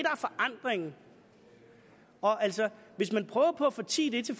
er forandringen altså hvis man prøver på at fortie